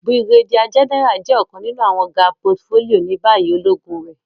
Brigadier General jẹ ọkan ninu awọn ga portfolio ni bayi ologun re.